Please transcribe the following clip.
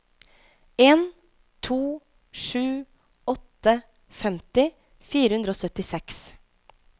en to sju åtte femti fire hundre og syttiseks